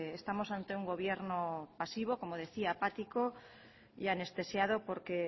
estamos ante un gobierno pasivo como decía apático y anestesiado porque